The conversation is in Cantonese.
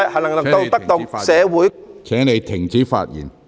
陸頌雄議員，請停止發言。